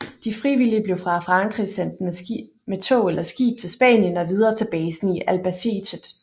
De frivillige blev fra Frankrig sendt med tog eller skib til Spanien og videre til basen i Albacete